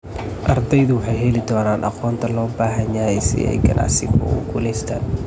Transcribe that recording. Ardaydu waxay heli doonaan aqoonta loo baahan yahay si ay ganacsigu ugu guulaystaan.